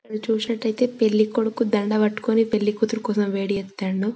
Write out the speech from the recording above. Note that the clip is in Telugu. ఇక్కడ చూసినట్టైతే పెళ్లి కొడుకు దందా పట్టుకుని పెళ్లి కూతురు కోసం వెయిట్ చేతుండు.